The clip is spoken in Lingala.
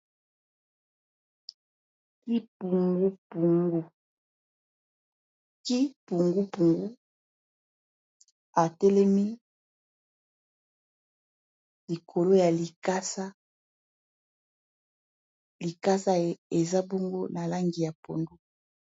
ki pungupungu atelemi likolo ya likasa likasa eza bongo na langi ya pondo